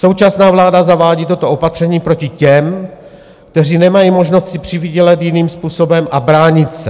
Současná vláda zavádí toto opatření proti těm, kteří nemají možnost si přivydělat jiným způsobem a bránit se.